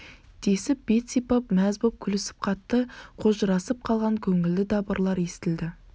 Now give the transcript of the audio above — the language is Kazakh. десіп бет сипап мәз боп күлісіп қатты қожырасып қалған көңілді дабырлар естілді